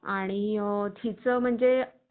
आणि तिचं म्हणजे